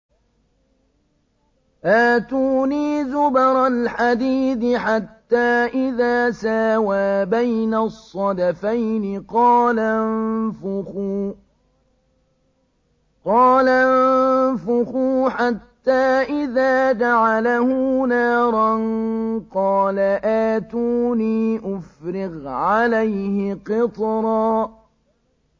آتُونِي زُبَرَ الْحَدِيدِ ۖ حَتَّىٰ إِذَا سَاوَىٰ بَيْنَ الصَّدَفَيْنِ قَالَ انفُخُوا ۖ حَتَّىٰ إِذَا جَعَلَهُ نَارًا قَالَ آتُونِي أُفْرِغْ عَلَيْهِ قِطْرًا